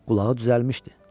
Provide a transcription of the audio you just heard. Qulağı düzəlmişdi.